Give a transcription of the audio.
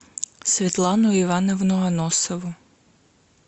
светлану ивановну аносову